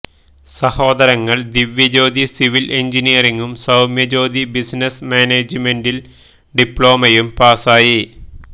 സഹോദരങ്ങള് Divyajyothi civil എന്ജിനിയറിംഗും Soumya Jyothi business മാനേജ്മെന്റില് ഡിപ്ലോമയും പാസായി